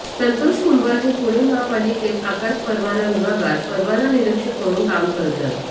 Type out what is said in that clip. संतोष कुंभार हे पुणे माहापालिकेत आकाश परवाना विभागात परवाना निरीक्षक म्हणून काम करतात